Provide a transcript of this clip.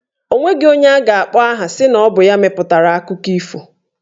Onweghi onye a ga-akpọ aha sị na ọ bụ ya mepụtara akụkọ ifo.